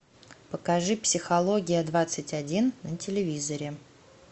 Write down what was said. покажи психология двадцать один на телевизоре